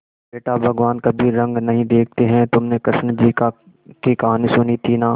बेटा भगवान कभी रंग नहीं देखते हैं तुमने कृष्ण जी की कहानी सुनी थी ना